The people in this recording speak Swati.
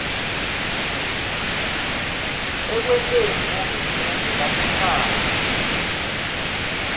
ekwenteni bohulumende basekhaya